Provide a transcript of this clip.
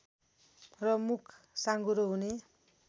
र मुख साँघुरो हुने